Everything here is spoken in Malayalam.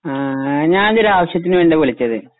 ങ്